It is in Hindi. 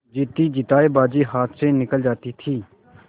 जीतीजितायी बाजी हाथ से निकली जाती थी